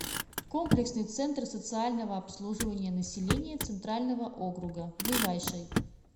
комплексный центр социального обслуживания населения центрального округа ближайший